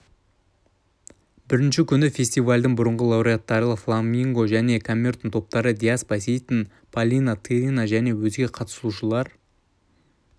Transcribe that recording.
бірінші күні фестивальдің бұрынғы лауреаттары фламинго және камертон топтары диас байсейітов полина тырина және өзге қатысушылар